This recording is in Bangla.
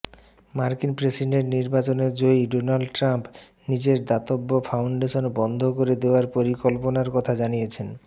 মার্কিন প্রেসিডেন্ট নির্বাচনে জয়ী ডোনাল্ড ট্রাম্প নিজের দাতব্য ফাউন্ডেশন বন্ধ করে দেয়ার পরিকল্পনার কথা জানিয়েছেন